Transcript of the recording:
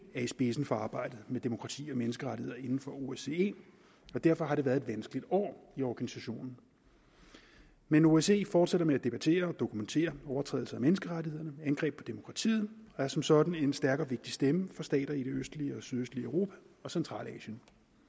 er i spidsen for arbejdet med demokrati og menneskerettigheder inden for osce og derfor har det været et vanskeligt år i organisationen men osce fortsætter med at debattere og dokumentere overtrædelser af menneskerettighederne og angreb på demokratiet og er som sådan en stærk og vigtig stemme for stater i det østlige og sydøstlige europa og centralasien